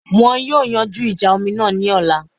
Wọn yóò yanjú ìjà omi náà ní ọ̀la